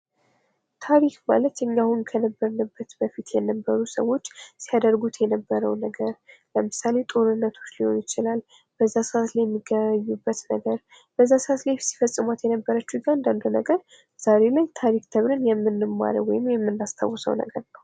ታሪክ ማለት እኛ አሁን ከነበርንበት በፊት የነበሩ ሰዎች ሲያደርጉት የነበረ ነገር ለምሳሌ ፦ ጦርነቶች ሊሆኑ ይችላሉ ፣ በዛ ሰዓት ላይ የሚገበያዩበት ነገር ፣ በዛ ሰዓት ላይ ሲፈፅሟት የነበረችው እያንዳንዷ ነገር ዛሬ ላይ ታሪክ ተብሎ የምንማረው ወይም የምናስታውሰው ነገር ነው ።